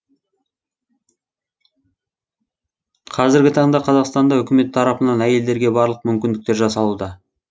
қазіргі таңда қазақстанда үкімет тарапынан әйелдерге барлық мүмкіндікттер жасалуда